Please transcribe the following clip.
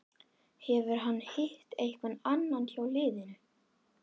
Hefur hann hitt einhvern annan hjá liðinu?